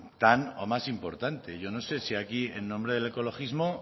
tan o más importante yo no sé si aquí en nombre del ecologismo